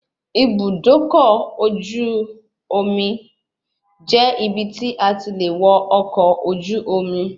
Ibùdókọ̀ ọkọ̀ ojú omi jẹ́ ibi tí a ti le wọ ọkọ̀ ojú omi